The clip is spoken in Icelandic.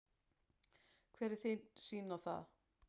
Hver er þín sýn á það?